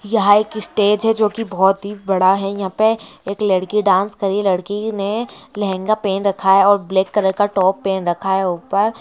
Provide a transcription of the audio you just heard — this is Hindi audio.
यहाँ एक स्टेज है जो की बहुत ही बड़ा है यहाँ पे लड़की डांस कर रही है लड़की ने लेहंगा पेहन रखा है और ब्लैक कलर का टॉप पेहन रखा है ऊपर--